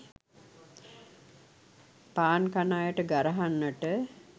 පාන් කන අයට ගරහන්නට